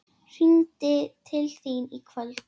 Hringi til þín í kvöld!